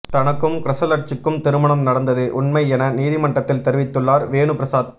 தனக்கும் கிரஹலட்சுக்கும் திருமணம் நடந்தது உண்மை என நீதிமன்றத்தில் தெரிவித்துள்ளார் வேணுபிரசாத்